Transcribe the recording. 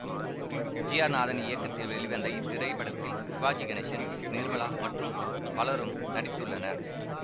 G R Nathan இயக்கத்தில் வெளிவந்த இத்திரைப்படத்தில் சிவாஜி கணேசன் நிர்மலா மற்றும் பலரும் நடித்துள்ளனர்